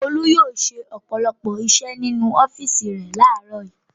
Olú yóò ṣe ọ̀pọ̀lọpọ̀ iṣẹ́ nínú ọ́fíísì rẹ̀ láàárọ̀ yìí.